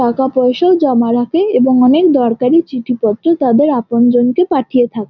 টাকা পয়সাও জমা রাখে এবং অনকে দরকারি চিঠি পত্র তাদের আপন জনকে পাঠিয়ে থাক--